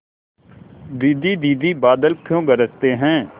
दीदी दीदी बादल क्यों गरजते हैं